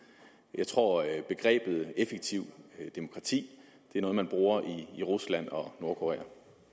jeg tror at begrebet effektivt demokrati er noget man bruger i rusland og nordkorea